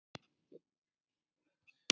Hann mun alltaf drekka aftur.